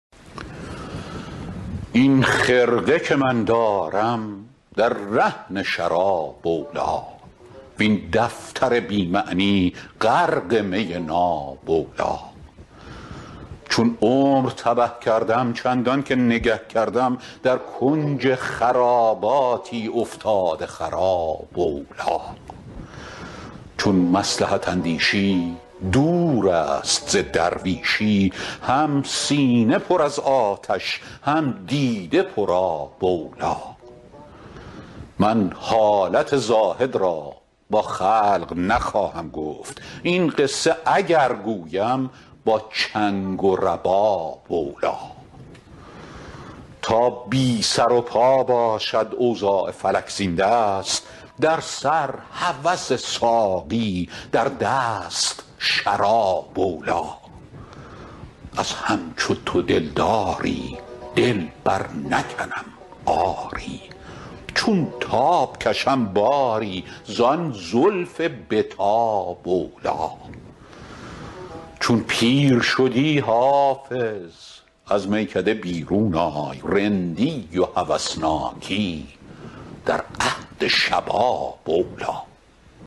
این خرقه که من دارم در رهن شراب اولی وین دفتر بی معنی غرق می ناب اولی چون عمر تبه کردم چندان که نگه کردم در کنج خراباتی افتاده خراب اولی چون مصلحت اندیشی دور است ز درویشی هم سینه پر از آتش هم دیده پرآب اولی من حالت زاهد را با خلق نخواهم گفت این قصه اگر گویم با چنگ و رباب اولی تا بی سر و پا باشد اوضاع فلک زین دست در سر هوس ساقی در دست شراب اولی از همچو تو دلداری دل برنکنم آری چون تاب کشم باری زان زلف به تاب اولی چون پیر شدی حافظ از میکده بیرون آی رندی و هوسناکی در عهد شباب اولی